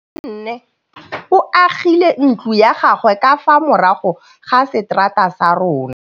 Nkgonne o agile ntlo ya gagwe ka fa morago ga seterata sa rona.